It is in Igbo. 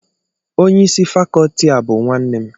Onye isi fakọlti a bụ nwanne nne m.